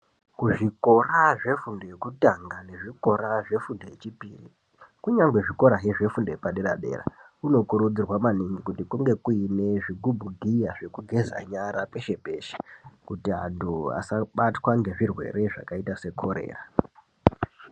Kuzvikora zvefundo yekutanga nezvikora zvefundo yechipiri kungangwezve zvikora zvefundo yepadera dera kunokurudzirwa maningi kuti kunge kuine zvigubhugiya zvekugeza nyara peshe peshe kuti antu asabatwa ngezvirwere zvakaita sekorera.